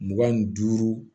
Mugan ni duuru